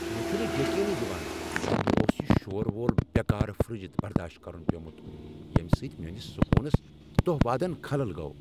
مےٚ چھنہٕ یقینے یوان ز مےٚ اوس یہ شور وول، بیکار فرٛج برداشت کرن پیومت ییمِہ سۭتۍ میٲنس سکونس دۄہ وادن خلل گوٚو ۔